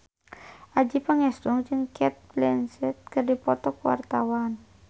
Adjie Pangestu jeung Cate Blanchett keur dipoto ku wartawan